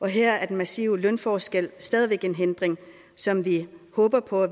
her er den massive lønforskel stadig en hindring som vi håber på